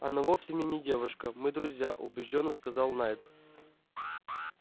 она вовсе мне не девушка мы друзья убеждённо сказал найд